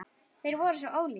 Þeir voru svo ólíkir.